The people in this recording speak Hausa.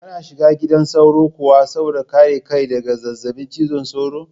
Kana shiga gidan sauro kuwa saboda kare kai daga zazzabin cizon sauro?